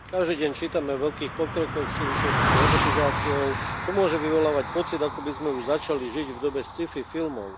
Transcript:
Každý deň čítame o veľkých pokrokoch v súvislosti s robotizáciou, čo môže vyvolávať, pocit ako by sme už začali žiť v dobe sci fi filmov.